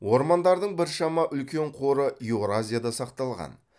ормандардың біршама үлкен қоры еуразияда сақталған